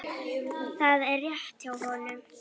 Það er rétt hjá honum.